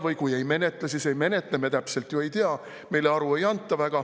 Või kui ei menetle, siis ei menetle – me ju täpselt ei tea, meile aru ei anta.